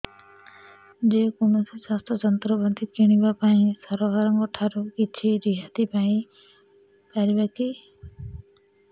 ଯେ କୌଣସି ଚାଷ ଯନ୍ତ୍ରପାତି କିଣିବା ପାଇଁ ସରକାରଙ୍କ ଠାରୁ କିଛି ରିହାତି ପାଇ ପାରିବା କି